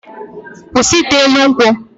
Kwụsị ite elu ugwu!